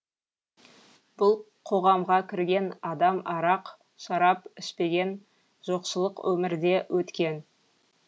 бұл қоғамға кірген адам арақ шарап ішпеген жоқшылық өмірде өткен